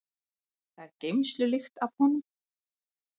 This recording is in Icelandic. Það er geymslulykt af honum.